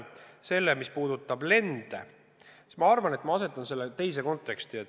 Mis puudutab lende, siis ma arvan, et ma asetan selle teise konteksti.